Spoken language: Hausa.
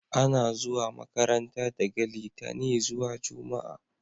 A na zuwa makaranta daga litani zuwa jumma'a